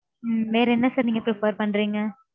உம் வேற என்ன sir நீங்க prefer பண்றீங்க?